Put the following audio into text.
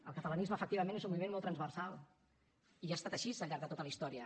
el catalanisme efectivament és un moviment molt transversal i ha estat així al llarg de tota la història